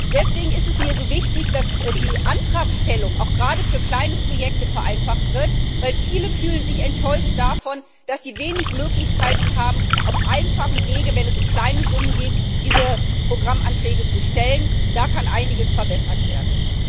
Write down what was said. Deswegen ist es mir so wichtig, dass die Antragstellung auch gerade für kleine Projekte vereinfacht wird, weil sich viele enttäuscht davon fühlen, dass sie wenig Möglichkeiten haben, auf einfachem Wege, wenn es um kleine Summen geht, diese Programmanträge zu stellen da kann einiges verbessert werden.